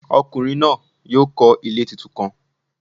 Ọkunrin naa yoo kọ ile titun kan.